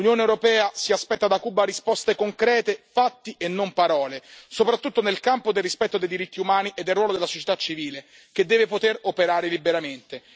L'Unione europea si aspetta da Cuba risposte concrete, fatti e non parole, soprattutto nel campo del rispetto dei diritti umani e del ruolo della società civile, che deve poter operare liberamente.